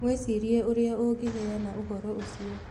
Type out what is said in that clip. Mwĩcirie ũrĩa ũngĩheana ũhoro ũcio.